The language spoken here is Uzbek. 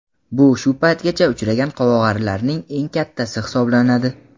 Bu shu paytgacha uchragan qovog‘arilarning eng kattasi hisoblanadi.